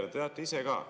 Te teate ise ka.